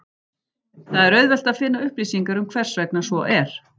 Það er auðvelt að finna upplýsingar um hversvegna svo er.